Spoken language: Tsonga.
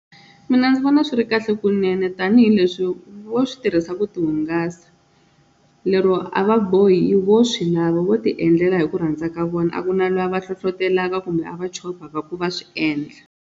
Mina ndzi vona swi ri kahle kunene tanihileswi vo swi tirhisa ku ti hungasa lero a va bohi vo swi lava vo ti endlela hi ku rhandza ka vona a ku na loyi a va hlohlotelaka kumbe a va chovhaka ku va swi endla.